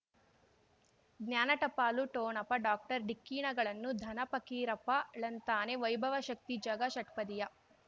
ಜ್ಞಾನ ಟಪಾಲು ಠೋಣಪ ಡಾಕ್ಟರ್ ಢಿಕ್ಕಿ ಣಗಳನು ಧನ ಫಕೀರಪ್ಪ ಳಂತಾನೆ ವೈಭವ್ ಶಕ್ತಿ ಝಗಾ ಷಟ್ಪದಿಯ